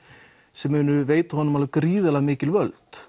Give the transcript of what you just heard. sem munu veita honum gríðarlega mikil völd